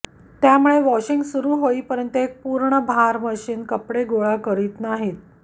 त्यामुळे वॉशिंग सुरू होईपर्यंत एक पूर्ण भार मशीन कपडे गोळा करीत नाहीत